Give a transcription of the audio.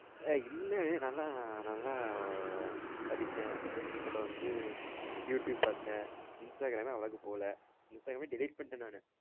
ஆஹ் இல்லை நல்லா நல்லா படிச்ச அப்பறம் வந்து youtube பார்த்த instagram அவ்ளோக்கு போல instagram delete பண்ணிட்டேன் நானு